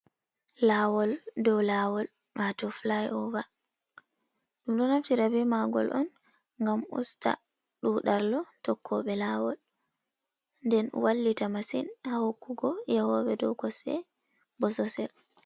Laawol dow laawol wato fli ova, ɗum ɗo naftira bemagol on ngam usta ɗuɗallo tokkoɓe laawol, nden wallita masin haukugo yahobe dow kosɗe bososel.